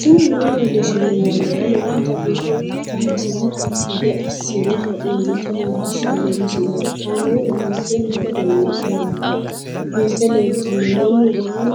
tini maa leelishshanno yaannohura lowonta biiffanota misile xuma gede assine haa'noonnita leellishshanno misileeti kaameru danchunni haa'noonni lamboe biiffe leeeltanno mannu waa